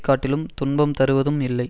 காட்டிலும் துன்பம் தருவதும் இல்லை